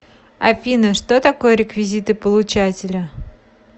афина что такое реквизиты получателя